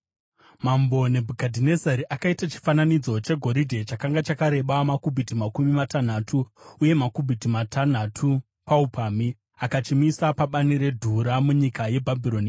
Mambo Nebhukadhinezari akaita chifananidzo chegoridhe, chakanga chakareba makubhiti makumi matanhatu uye makubhiti matanhatu paupamhi, akachimisa pabani reDhura munyika yeBhabhironi.